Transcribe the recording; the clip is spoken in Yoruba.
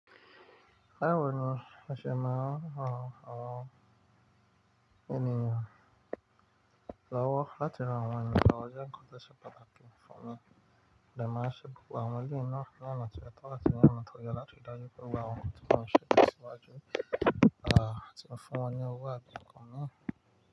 Bawọ ni, o ṣe máa ràn àwọn ènìyàn lọ́wọ́ láti ran awọn eniyan lọ́wọ́. Ó jẹ́ nǹkan to ṣe pàtàkì fún mi. Lẹ́máàṣe, gbogbo àwọn éleyii náà ní ona ti o tọ́ áti ní ona to ye láti dájú pé wọ́n wà ọkọ̀ tí wọ́n ṣètò síwájú. À tí ń fún wọn ní owó àbí nǹkan mi.